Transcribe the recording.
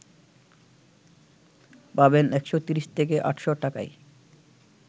পাবেন ১৩০ থেকে ৮০০ টাকায়